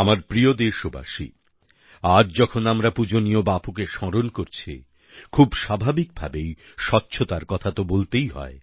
আমার প্রিয় দেশবাসী আজ যখন আমরা পূজনীয় বাপুকে স্মরণ করছি খুব স্বাভাবিক ভাবেই স্বচ্ছতার কথা তো বলতেই হয়